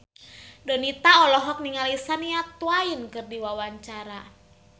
Donita olohok ningali Shania Twain keur diwawancara